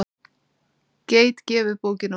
Geit gefur bókina út.